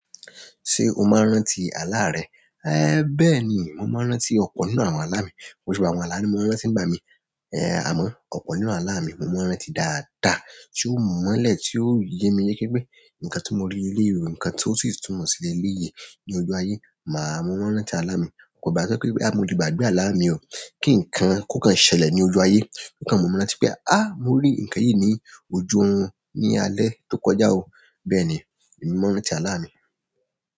Ṣé o máa ń rántí àlá rẹ? Ẹ bẹ́ẹ̀ ni, mo máa ń rántí ọ̀pọ̀ nínú àwọn àlá mi. Ko si ba àwọn àlá mi mo ma n rántí ba mi, è a mọ ọ̀pọ̀ nínú àlá mi mo ma n rántí dáadáa, tí ó mọ́lẹ̀ tí ó ye mi yéké pé nǹkan tí mo rí léèrí, ǹkan tí ó sì túmọ̀ sí ilé iye ní ojú ayé, màá mọ́wá rántí àlá mi. Kò bá to jẹ pé bóyá mo le gbàgbé àlà mí kí nkán ko kàn ṣẹlẹ̀ lójú ayé o kàn mumi rántí pé "ah, mo ri nkan yi ni ojú òrun ni alẹ́ to kọjá o." Bẹ́ẹ̀ ni, èmi mo máa ń rántí àlá mi.